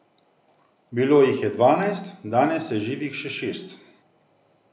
Bilo jih je dvanajst, danes je živih še šest.